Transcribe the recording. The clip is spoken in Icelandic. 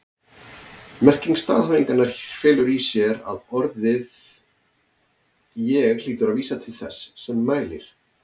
Merking staðhæfingarinnar felur í sér að orðið ég hlýtur að vísa til þess sem mælir.